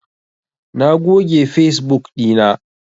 Na goge fesbuk ɗina.